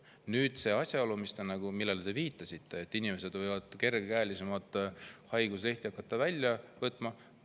Nüüd see asjaolu, millele te viitasite, et inimesed võivad hakata kergekäelisemalt haiguslehti välja võtma.